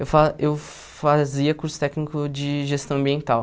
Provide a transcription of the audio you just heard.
Eu fa eu fazia curso técnico de gestão ambiental.